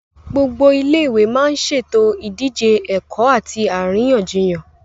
Gbogbo Ilé ìwé má ń ṣètò ìdíje ẹ̀kọ́ àti àríyànjiyàn